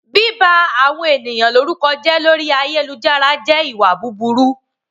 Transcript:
Bíba àwọn ènìyàn lórúkọ jẹ́ lórí ayélujára jẹ́ ìwà búburú